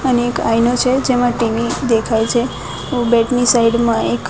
અને એક આઇનો છે જેમાં ટી_વી દેખાય છે બેડ ની સાઈડ માં એક --